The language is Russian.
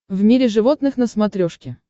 в мире животных на смотрешке